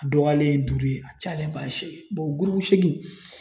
A dɔgɔyalen duuru ye a cayalenba seegin ye gurupu seegin